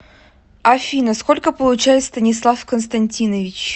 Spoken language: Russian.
афина сколько получает станислав константинович